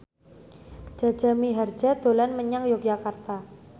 Jaja Mihardja dolan menyang Yogyakarta